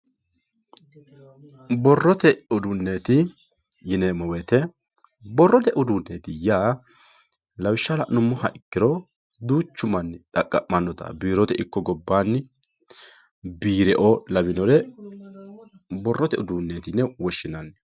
Borottte udunetti yinemori borotye udunetti ya lawisha lanumoha ikiro duchu manni xaqamonotta birotte iko gobanni birreo lawinore borotye udunetti yine woshinanni